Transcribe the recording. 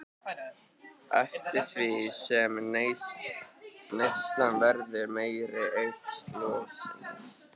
Eftir því sem neyslan verður meiri eykst losunin.